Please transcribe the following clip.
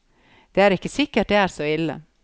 Det er ikke sikkert det er så ille.